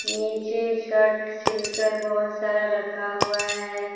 नीचे shirt seal कर बहोत सारा रखा हुआ है।